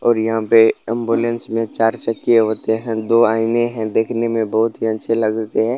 और यहाँ पे एम्बुलेंस में चार चकिया होते हैं दो आईने है देखने में बहोत ही अच्छे लगते हैं।